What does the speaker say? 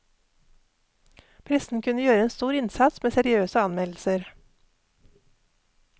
Pressen kunne gjøre en stor innsats med seriøse anmeldelser.